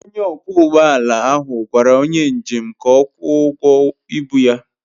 Onye ọkwọ ụgbọ ala ahụ gwara onye njem ka ọ kwụọ ụgwọ ịbu ya.